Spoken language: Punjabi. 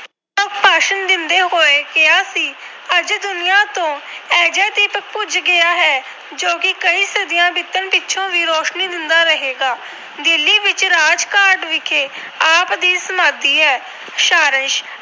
ਹੋਏ ਕਿਹਾ ਸੀ ਅੱਜ ਦੁਨੀਆਂ ਤੋਂ ਅਜਿਹਾ ਦੀਪਕ ਬੁਝ ਗਿਆ ਹੈ ਜੋ ਕਿ ਕਈ ਸਦੀਆਂ ਬੀਤਣ ਪਿੱਛੋਂ ਵੀ ਰੋਸ਼ਨੀ ਦਿੰਦਾ ਰਹੇਗਾ। ਦਿੱਲੀ ਵਿਖੇ ਰਾਜਘਾਟ ਵਿਖੇ ਆਪ ਦੀ ਸਮਾਧੀ ਹੈ। ਸਾਰਾਸ਼